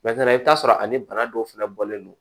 i bɛ t'a sɔrɔ ani bana dɔw fana bɔlen don